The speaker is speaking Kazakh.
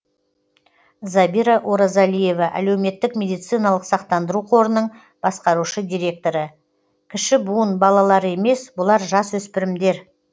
забира оразалиева әлеуметтік медициналық сақтандыру қорының басқарушы директоры кіші буын балалары емес бұлар жасөспірімдер